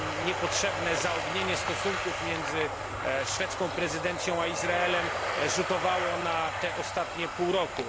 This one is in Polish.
całe niepotrzebne zaognienie stosunków pomiędzy szwedzką prezydencją a Izraelem rzutowało na to ostanie pół roku.